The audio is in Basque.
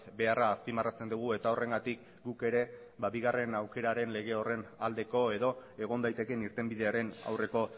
beharra azpimarratzen dugu eta horrengatik guk ere bigarren aukeraren lege horren aldeko edo egon daitekeen irtenbidearen aurreko